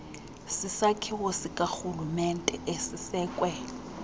sisakhiwo sikarhulumente esisekwe